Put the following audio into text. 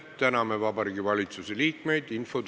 Täname Vabariigi Valitsuse liikmeid!